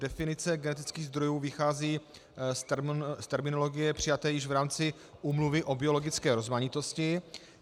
Definice genetických zdrojů vychází z terminologie přijaté už v rámci Úmluvy o biologické rozmanitosti.